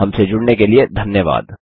हमसे जुड़ने के लिए धन्यवाद